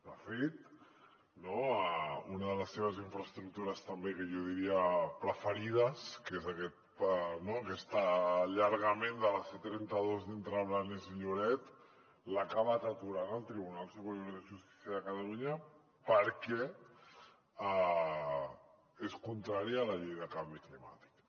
de fet una de les seves infraestructures també que jo diria preferides que és aquest allargament de la c trenta dos entre blanes i lloret l’ha acabat aturant el tribunal superior de justícia de catalunya perquè és contrària a la llei del canvi climàtic